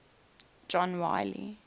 john wiley